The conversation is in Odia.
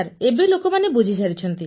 ଏବେ ଲୋକମାନେ ବୁଝିସାରିଛନ୍ତି